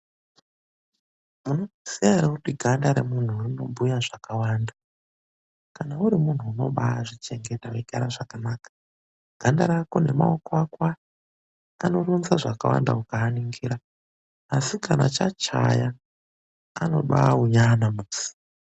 Munozviziya ere kuti ganda remuntu rinobhuya zvakawanda. Kana uri muntu unobaazvichengeta weigara zvakanaka, ganda rako nemaoko ako aya anoronza zvakawanda ukamaningira. Asi kana chachaya anobaaonyana musi.